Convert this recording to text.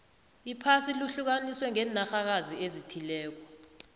iphasi lihlukaniswe ngenarhakazi ezithileko